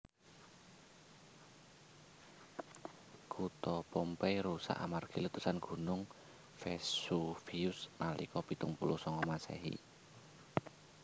Kutha Pompeii rusak amargi letusan Gunung Vesuvius nalika pitung puluh sanga Masehi